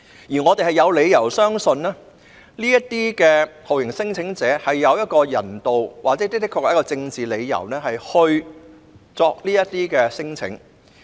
因此，我們有理由相信，這些酷刑聲請者是有人道或政治理由才會提出聲請。